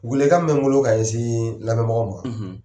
Welewelekan bɛ n bolo ka ɲɛsin lamɛnbagaw ma.